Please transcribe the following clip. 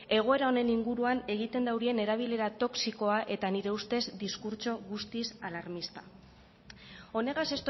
egoera honen inguruan egiten daurien erabilera toxikoa eta nire ustez diskurtso guztiz alarmista honegaz